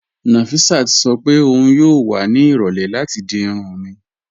Nọfisát sọ pé ọun yóò wà ní irọ̀lẹ̀ láti di irùn mí